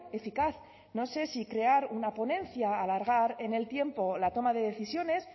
eficaz no sé si crear una ponencia alargar en el tiempo la toma de decisiones